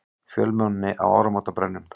Fjölmenni á áramótabrennum